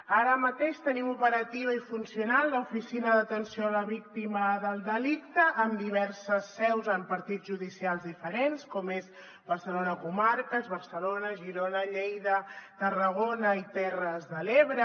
ara mateix tenim operativa i funcional l’oficina d’atenció a la víctima del delicte amb diverses seus en partits judicials diferents com és barcelona comarques barcelona girona lleida tarragona i terres de l’ebre